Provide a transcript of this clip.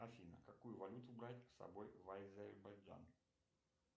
афина какую валюту брать с собой в азербайджан